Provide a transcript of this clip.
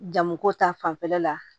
Jamuko ta fanfɛla la